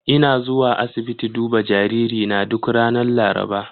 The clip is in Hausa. Ina zuwa asibiti duba jaririna duk ranar Laraba.